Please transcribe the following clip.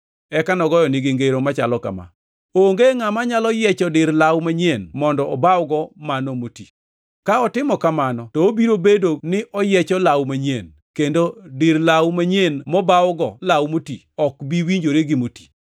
Eka nogoyonegi ngero machalo kama: “Onge ngʼama nyalo yiecho dir law manyien mondo obawgo mano moti. Ka otimo kamano, to obiro bedo ni oyiecho law manyien, kendo dir law manyien mobawgo law moti ok bi winjore gi moti.